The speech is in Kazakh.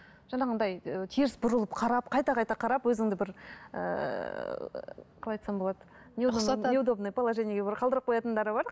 жаңағындай ы теріс бұрылып қарап қайта қайта қарап өзіңді бір ііі қалай айтсам болады неудобный неудобный положениеге бір қалдырып қоятындары бар